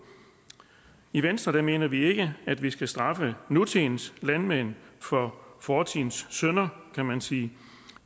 i venstre mener vi ikke at vi skal straffe nutidens landmænd for fortidens synder kan man sige